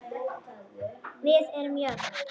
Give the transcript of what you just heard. Við erum jöfn.